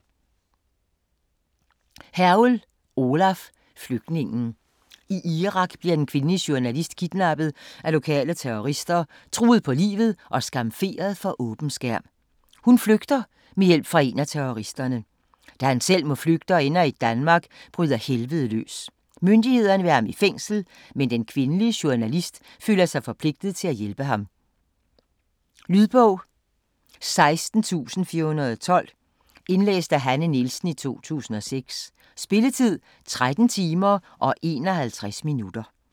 Hergel, Olav: Flygtningen I Irak bliver en kvindelig journalist kidnappet af lokale terrorister, truet på livet, og skamferet for åben skærm. Hun flygter, med hjælp fra en af terroristerne. Da han selv må flygte, og ender i Danmark, bryder helvedet løs. Myndighederne vil have ham i fængsel, men den kvindelige journalist føler sig forpligtet til at hjælpe ham. Lydbog 16412 Indlæst af Hanne Nielsen, 2006. Spilletid: 13 timer, 51 minutter.